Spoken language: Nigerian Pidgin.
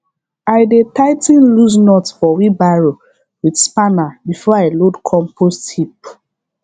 i dey tigh ten loose nut for wheelbarrow with spanner before i load compost heap